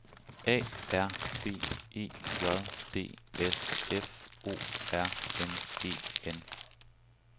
A R B E J D S F O R M E N